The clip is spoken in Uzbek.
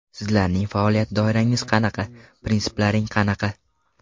Sizlarning faoliyat doirangiz qanaqa, prinsiplaring qanaqa ?